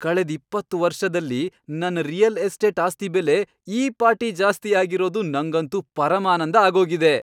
ಕಳೆದ್ ಇಪ್ಪತ್ತ್ ವರ್ಷದಲ್ಲಿ ನನ್ ರಿಯಲ್ ಎಸ್ಟೇಟ್ ಆಸ್ತಿ ಬೆಲೆ ಈ ಪಾಟಿ ಜಾಸ್ತಿ ಆಗಿರೋದು ನಂಗಂತೂ ಪರಮಾನಂದ ಆಗೋಗಿದೆ.